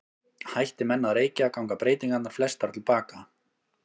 Hætti menn að reykja ganga breytingarnar flestar til baka.